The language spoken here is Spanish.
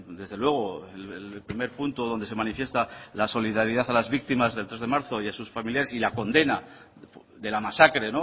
desde luego el primer punto donde se manifiesta la solidaridad a las víctimas del tres de marzo y a sus familiares y la condena de la masacre